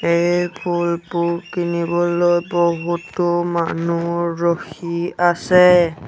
এই ফুলবোৰ কিনিবলৈ বহুতো মানুহ ৰখি আছে।